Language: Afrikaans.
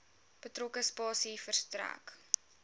betrokke spasie verstrek